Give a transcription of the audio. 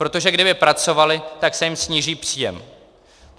Protože kdyby pracovali, tak se jim sníží příjem.